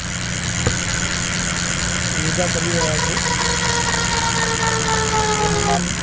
યોગા કરી રહ્યા છે જેનું નામ --